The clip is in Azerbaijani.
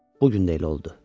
Bu gün də elə oldu.